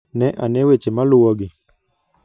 Ne ane weche maluwogi: